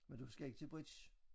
Men du skal ikke til bridge?